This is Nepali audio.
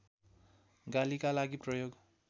गालीका लागि प्रयोग